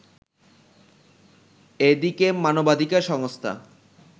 এদিকে মানবাধিকার সংস্থা